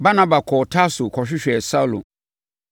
Barnaba kɔɔ Tarso kɔhwehwɛɛ Saulo.